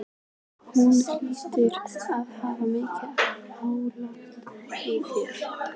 Hún hlýtur að hafa mikið álit á mér.